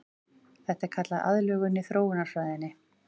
Þetta er kallað aðlögun í þróunarfræðinni.